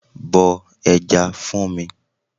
Bọ ẹja fún mi.